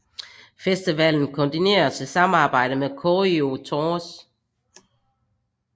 Festivalen koordineres i samarbejde med Koryo Tours